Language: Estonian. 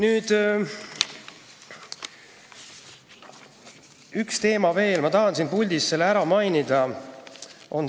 Ühest teemast veel, mida ma tahan siin puldis ära mainida.